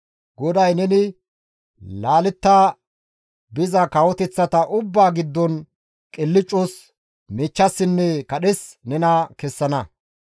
GODAY neni laaletta biza kawoteththata ubbaa giddon nena qilccas, miichchassinne kadhes kessana.